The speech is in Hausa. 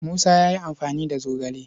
Musa ya yi amfani da zogale.